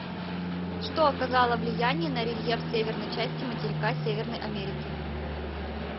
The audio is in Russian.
что оказало влияние на рельеф северной части материка северной америки